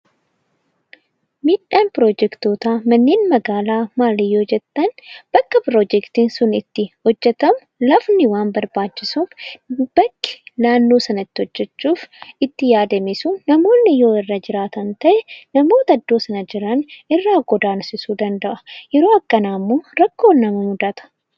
Miidhaan piroojektoota manneen magaalaa maali yoo jettan bakka piroojektiin sun itti hojjetamu lafti waan barbaachisuuf bakki naannoo sanaa itti hojjechuuf itti yaadame sun namoonni yoo irra jiraataan ta'e namoota iddoo sana jiran irraa godansisuu danda'a. Yeroo akkanaa immoo rakkootu nama mudata.